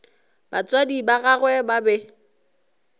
batswadi ba gagwe ba be